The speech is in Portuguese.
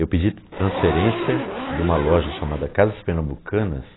Eu pedi transferência de uma loja chamada Casas Pernambucanas,